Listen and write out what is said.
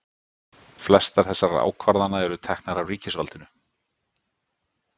Flestar þessara ákvarðana eru teknar af ríkisvaldinu.